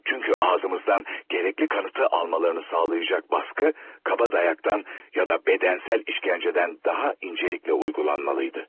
Çünkü ağzımızdan gerekli kanıtı almalarını sağlayacak baskı, kaba dayaktan ya da bedensel işkenceden daha incelikle uygulanmalıydı.